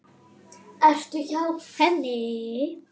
Ertu hjá henni?